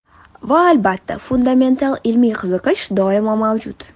Va albatta, fundamental ilmiy qiziqish doimo mavjud.